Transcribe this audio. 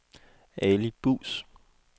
Ali Buus